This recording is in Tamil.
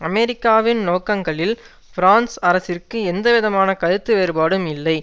அமெரிக்காவின் நோக்கங்களில் பிரான்சு அரசிற்கு எந்தவிதமான கருத்து வேறுபாடும் இல்லை